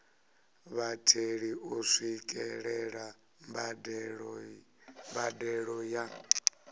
vhatheli u swikelela mbadelo ya